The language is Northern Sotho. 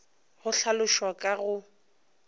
ge go hlalošwa ka go